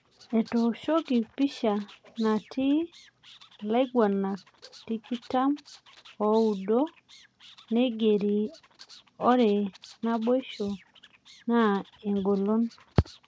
Etooshiki pisha natii ilaguranak tikitam oudo, neigeri ore naboisho na eng'olon